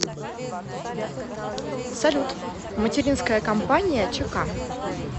салют материнская компания чк